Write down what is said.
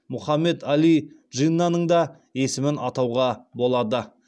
мұхаммед әли джиннаның да есімін атауға болады